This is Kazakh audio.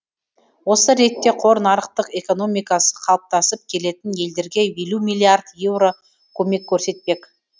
осы ретте қор нарықтық экономикасы қалыптасып келетін елдерге елу миллиард еуро көмек көрсетпек